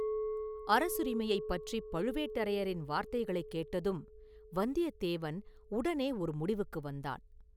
அரசுரிமையைப் பற்றிப் பழுவேட்டரையரின் வார்த்தைகளைக் கேட்டதும் வந்தியத்தேவன் உடனே ஒரு முடிவுக்கு வந்தான்.